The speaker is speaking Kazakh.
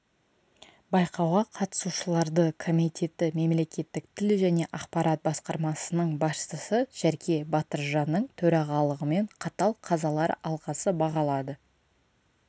байқауға қатысушыларды комитеті мемлекеттік тіл және ақпарат басқармасының басшысы жәрке батыржанның төрағалығымен қатал қазалар алқасы бағалады